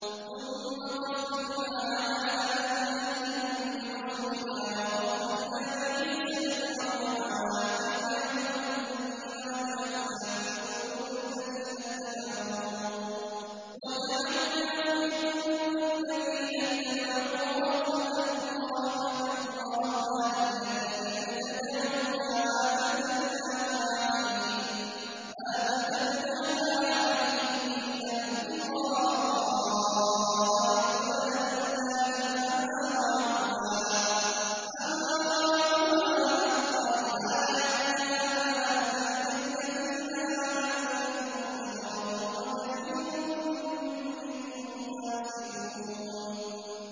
ثُمَّ قَفَّيْنَا عَلَىٰ آثَارِهِم بِرُسُلِنَا وَقَفَّيْنَا بِعِيسَى ابْنِ مَرْيَمَ وَآتَيْنَاهُ الْإِنجِيلَ وَجَعَلْنَا فِي قُلُوبِ الَّذِينَ اتَّبَعُوهُ رَأْفَةً وَرَحْمَةً وَرَهْبَانِيَّةً ابْتَدَعُوهَا مَا كَتَبْنَاهَا عَلَيْهِمْ إِلَّا ابْتِغَاءَ رِضْوَانِ اللَّهِ فَمَا رَعَوْهَا حَقَّ رِعَايَتِهَا ۖ فَآتَيْنَا الَّذِينَ آمَنُوا مِنْهُمْ أَجْرَهُمْ ۖ وَكَثِيرٌ مِّنْهُمْ فَاسِقُونَ